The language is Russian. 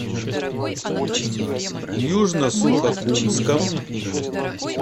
южно сухокумском